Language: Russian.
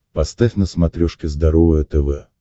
поставь на смотрешке здоровое тв